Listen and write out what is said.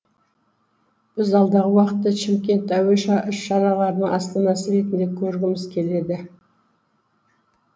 біз алдағы уақытта шымкент әуе шараларының астанасы ретінде көргіміз келеді